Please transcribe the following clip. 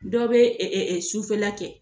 Dɔw bɛ sufɛla kɛ